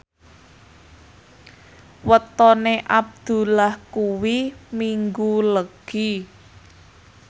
wetone Abdullah kuwi Minggu Legi